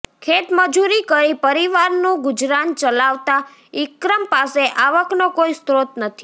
ખેત મજૂરી કરી પરિવારનું ગુજરાન ચલાવતા ઇક્રમ પાસે આવકનો કોઇ સ્ત્રોત નથી